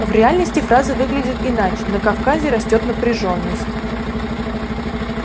в реальности фраза выглядит иначе на кавказе растёт напряжённость